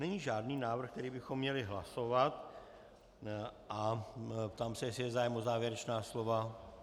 Není žádný návrh, který bychom měli hlasovat, a ptám se, jestli je zájem o závěrečná slova.